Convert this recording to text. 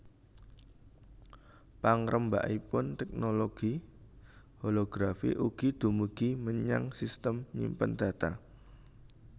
Pangrembakanipun teknologi holografi ugi dumugi menyang sistem nyimpen data